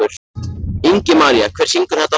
Ingimaría, hver syngur þetta lag?